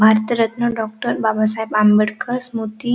Bharat Ratna doctor Babasaheb Ambedkar Smriti--